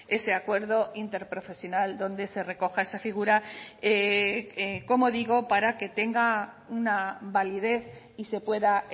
ese acuerdo interprofesional donde se recoja esa figura como digo para que tenga una validez y se pueda